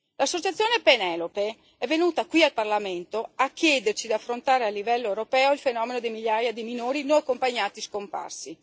L'associazione Penelope è venuta qui al Parlamento a chiederci di affrontare a livello europeo il fenomeno delle migliaia di minori non accompagnati scomparsi.